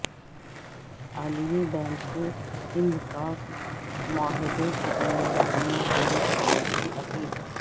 عالمی بینک سے سندھ طاس معاہدے کی ذمہ داریاں پوری کرنے کی اپیل